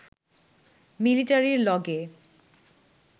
মিলিটারির লগে